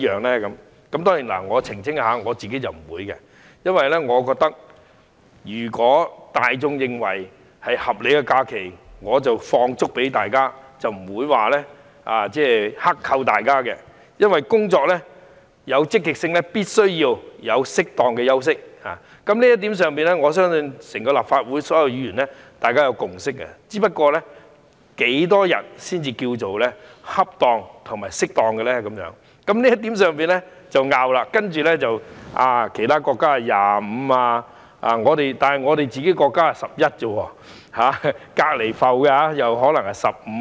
我要澄清，我不會，因為我覺得大眾認為是合理的假期，我便會給員工放足假期，不會剋扣，因為要員工工作積極，便必須給他們適當的休息，在這一點上，我相信立法會所有議員均有共識，只不過是多少天假期才屬恰當，大家在這一點上有所爭拗，例如說其他國家有25天假期，但我們只有11天，而鄰埠又可能是15天。